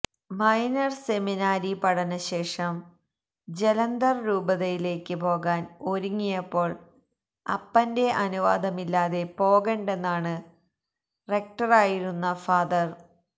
minor seminary പഠനശേഷം ജലന്തർ രൂപതയിലേക്ക് പോകാൻ ഒരുങ്ങിയപ്പോൾ അപ്പന്റെ അനുവാദമില്ലാതെ പോകണ്ടെന്നാണ് റെക്ടറായിരുന്ന ഫാ